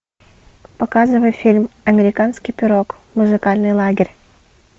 показывай фильм американский пирог музыкальный лагерь